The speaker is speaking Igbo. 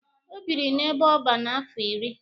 O biri n'ebe ọban afọ iri.